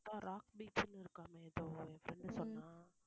அதான் ராக் பீச்ன்னு இருக்காமே எதோ என் friend சொன்னா